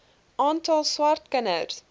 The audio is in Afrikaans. aantal swart kinders